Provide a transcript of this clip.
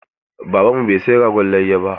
Baban mu bai saya ragon layya ba.